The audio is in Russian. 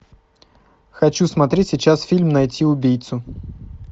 хочу смотреть сейчас фильм найти убийцу